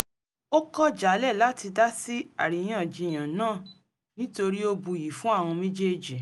ó kọ̀ jálẹ̀ láti dasí àríyànjiyàn náà nítorí ó buyì fún àwọn méjèèjì